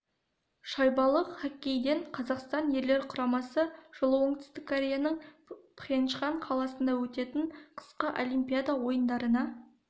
шайбалы хоккейден қазақстан ерлер құрамасы жылы оңтүстік кореяның пхенчхан қаласында өтетін қысқы олимпиада ойындарына іріктеу жарысын